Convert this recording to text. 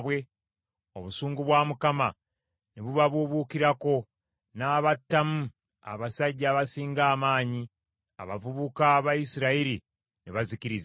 obusungu bwa Mukama ne bubabuubuukirako, n’abattamu abasajja abasinga amaanyi; abavubuka ba Isirayiri ne bazikirizibwa.